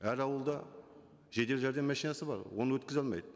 әр ауылда жедел жәрдем машинасы бар оны өткізе алмайды